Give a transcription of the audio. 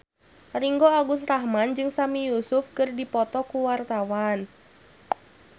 Ringgo Agus Rahman jeung Sami Yusuf keur dipoto ku wartawan